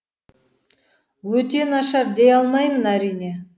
өте нашар дей алмаймын әрине